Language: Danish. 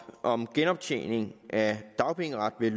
om genoptjening af dagpengeret ved